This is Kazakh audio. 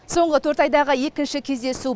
соңғы төрт айдағы екінші кездесу